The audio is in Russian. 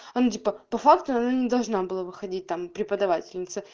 а он типа по факту она должна была выходить там преподавательница